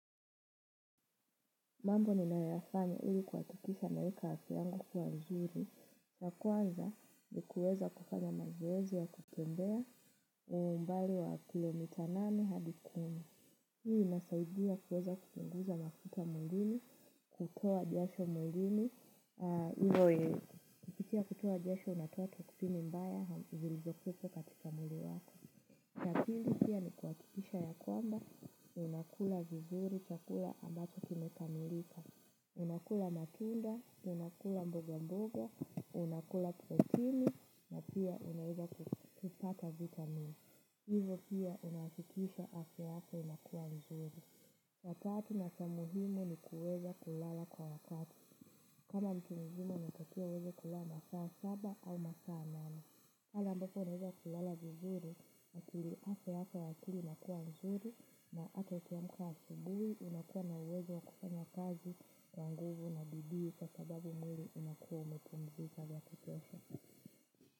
Mambo ninayafanya ili kuhakikisha naeka afya yangu kuwa nzuri. Ya kwanza ni kuweza kufanya mazoezi ya kutembea umbali wa kilomita nane hadi kumi. Hii inasaidia kuweza kupunguza mafuta mwilini, kutoa jasho mwilini. Pia kutoa jasho inatua toxini mbaya, zilizo kuwepo katika mwili wako. Ya pili pia ni kuhakikisha ya kwamba, ninakula vizuri chakula ambacho kimekamilika. Unakula matunda, unakula mboga mboga, unakula protini, na pia unaeza kupata vitamin. Hivo pia unahakikisha afya yako inakuwa nzuri. Ya tatu na cha muhimu ni kuweza kulala kwa wakati. Kama mtu mzima anatakiwa aweze kulala masaa saba au masaa nane pale ambapo unaeza kulala vizuri, akili afya yako ya akili inakuwa nzuri na hata ukiamka asubuhi unakuwa na uwezo wa kufanya kazi kwa nguvu na bidii kwa sababu mwili unakuwa umepumzika ya kutosha.